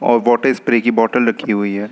Water spray की bottle रखी हुई है।